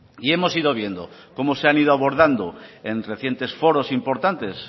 y hemos ido viendo cómo se han ido abordando en recientes foros importantes